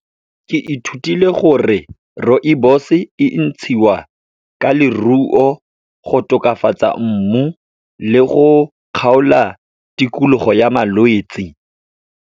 Ke ithutile gore rooibos-e e ntshiwa ka leruo, go tokafatsa mmu le go kgaola tikologo ya malwetsi.